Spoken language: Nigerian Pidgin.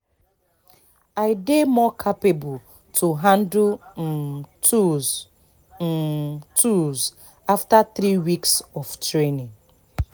i dey more capable to handle um tools um tools after three weeks of training